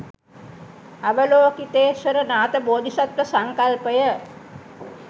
අවලෝකිතේශ්වර නාථ බෝධිසත්ව සංකල්පය